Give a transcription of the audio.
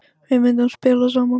Við myndum spila saman.